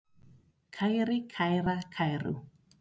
kæri, kæra, kæru